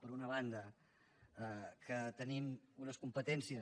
per una banda que tenim unes competències